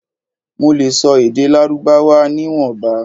Mo le sọ èdè lárúbáwá ni ìwọ̀nba